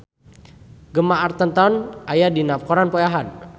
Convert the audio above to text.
Gemma Arterton aya dina koran poe Ahad